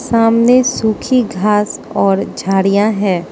सामने सूखी घास और झाड़ियां हैं।